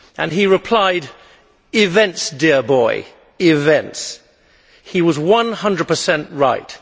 He replied Events, dear boy, events'. He was one hundred per cent right.